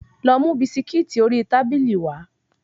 Lọ mú bisikíìtì ori tábìlì wá.